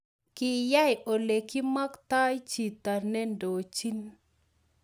Kyayey olegimaktai chito nendochino